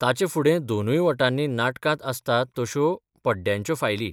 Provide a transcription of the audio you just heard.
ताचे फुडें दोनूय वटांनी नाटकांत आसतात तश्यो पड्ड्यांच्यो फायली.